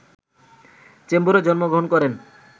চেম্বুরে জন্মগ্রহণ করেন